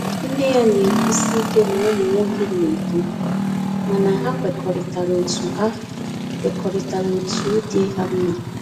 Nne ya na-ekwusi ike na ụmụ nwoke na-edu, mana ha kwekọrịta otu ha kwekọrịta otu dị ha mma